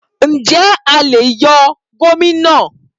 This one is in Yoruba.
Ǹjẹ́ a lè yọ gómìnà?